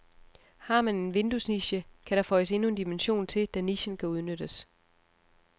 Har man en vinduesniche, kan der føjes endnu en dimension til, da nichen kan udnyttes.